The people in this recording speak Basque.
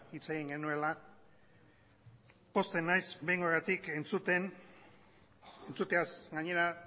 hitz egin genuela pozten naiz behingoagatik entzuteaz gainera